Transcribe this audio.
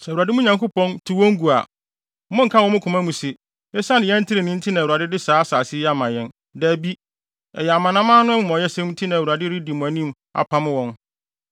Sɛ Awurade, mo Nyankopɔn, tu wɔn gu a, monnka wɔ mo koma mu se, “Esiane yɛn trenee nti na Awurade de saa asase yi ama yɛn.” Dabi, ɛyɛ aman no amumɔyɛsɛm nti na Awurade redi mo anim apam wɔn.